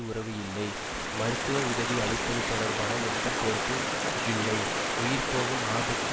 உறவு இல்லை மருத்துவ உதவி அளிப்பது தொடர்பான எந்த பொறுப்பும் இல்லை உயிர்போகும் ஆபத்து